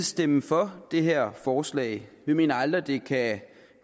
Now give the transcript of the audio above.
stemme for det her forslag vi mener aldrig at